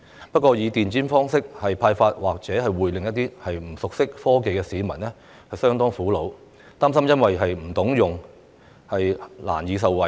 不過，以電子方式派發消費券，或會令一些不熟悉科技的市民相當苦惱，擔心因不懂得操作而難以受惠。